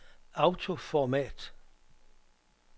autoformat